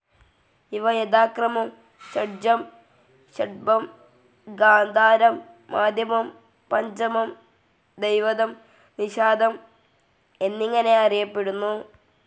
ഇവ യഥാക്രമം ഷഡ്ജം, ൠഷഭം, ഗാന്ധാരം, മധ്യമം, പഞ്ചമം, ധൈവതം, നിഷാദം എന്നിങ്ങനെ അറിയപ്പെടുന്നു.